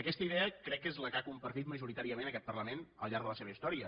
aquesta idea crec que és la que ha compartit majoritàriament aquest parlament al llarg de la seva història